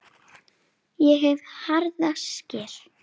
Ég hef harða skel.